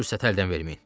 Fürsəti əldən verməyin!